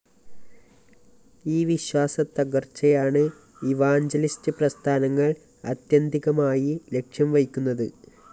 ഈ വിശ്വാസത്തകര്‍ച്ചയാണ് ഇവാഞ്ചലിസ്റ്റ്‌ പ്രസ്ഥാനങ്ങള്‍ ആത്യന്തികമായി ലക്ഷ്യംവയ്ക്കുന്നത്